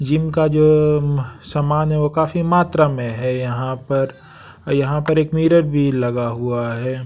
Gym का जो उम सामान है वो काफी मात्रा में है यहाँ पर यहाँ पर एक मिरर भी लगा हुआ है।